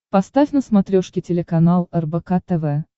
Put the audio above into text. поставь на смотрешке телеканал рбк тв